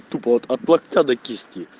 тупо вот от локтя до кисти